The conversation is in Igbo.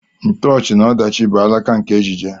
Ntoochi na ọdachi bụ alaka nke ejije.